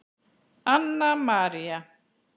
Anna María.